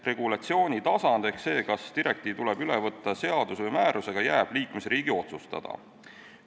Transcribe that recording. Regulatsiooni tasand ehk see, kas direktiiv tuleb üle võtta seaduse või määrusega, jääb iga liikmesriigi enda otsustada.